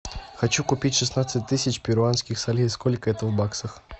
хочу купить шестнадцать тысяч перуанских солей сколько это в баксах